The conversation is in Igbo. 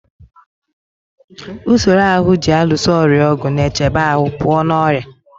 Usoro ahụ ji alụso ọrịa ọgụ na-echebe ahụ pụọ na ọrịa.